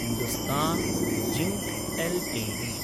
Hindustan Zinc LTD